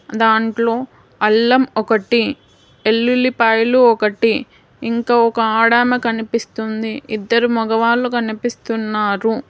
దాంట్లో అల్లం ఒకటి వెల్లుల్లిపాయలు ఒకటి ఇంకా ఒక ఆడ ఆమె కనిపిస్తుంది ఇద్దరు మగవాళ్ళు కనిపిస్తున్నారు.